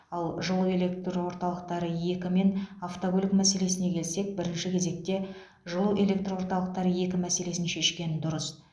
ал жылу электр орталықтары екі мен автокөлік мәселесіне келсек бірінші кезекте жылу электр орталықтары екі мәселесін шешкен дұрыс